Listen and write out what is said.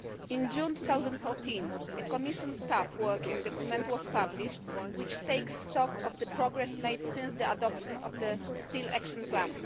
In June 2014, a Commission staff working document was published which takes stock of the progress made since the adoption of the Steel Action Plan.